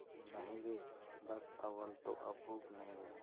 नहीं रे बस अव्वल तो अब भूख नहीं